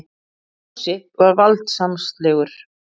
Fúsi var valdsmannslegur.